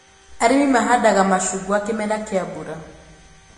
Arĩmi mahandaga macungwa kĩmera kĩa mbura